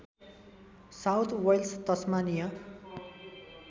south Wales Tasmania